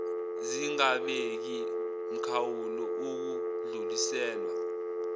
zingabeki mkhawulo ukudluliselwa